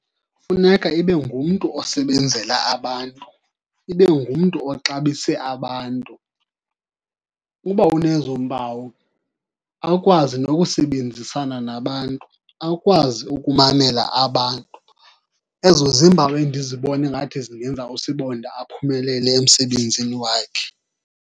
Funeka ibe ngumntu osebenzela abantu, ibe ngumntu oxabise abantu. Uba unezo mpawu, akwazi nokusebenzisana nabantu, akwazi ukumamela abantu, ezo ziimpawu endizibone ngathi zingenza usibonda aphumelele emsebenzini wakhe.